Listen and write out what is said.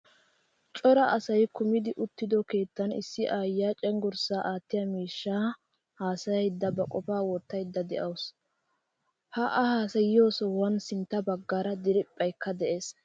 Cora asay kumidi uttido keettan issi aayiyaa cenggurssa aattiyaa miishshan haasayaydanne ba qofa wottayda deawusu. Ha a haasayiyo sohuwan sintta baggaara diriphphaykka de'ees.